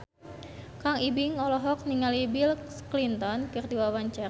Kang Ibing olohok ningali Bill Clinton keur diwawancara